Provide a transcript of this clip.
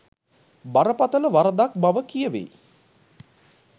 බරපතල වරදක් බව කියවෙයි